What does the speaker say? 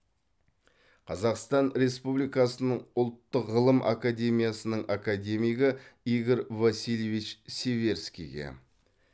қазақстан республикасының ұлттық ғылым академиясының академигі игорь васильевич северскийге